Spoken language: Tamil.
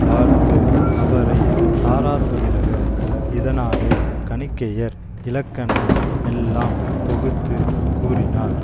பார்த்து அவரை சாராதொழிழக இதனாலே கணிகையர் இலக்கண மெல்லாம் தொகுத்து கூறினார்